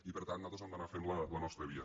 i per tant nosaltres hem d’anar fent la nostra via